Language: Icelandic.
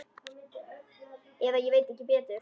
Eða ég veit ekki betur.